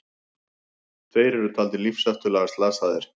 Tveir eru taldir lífshættulega slasaðir